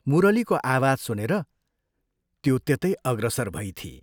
मुरलीको आवाज सुनेर त्यो त्यतै अग्रसर भइथी।